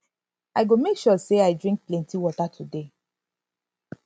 i go make sure sey i drink plenty water today